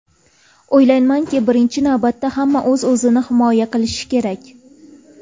O‘ylaymanki, birinchi navbatda hamma o‘z-o‘zini himoya qilishi kerak.